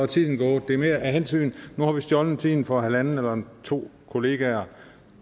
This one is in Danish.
tiden gået nu har vi stjålet tiden fra halvanden eller to kolleger